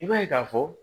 I b'a ye k'a fɔ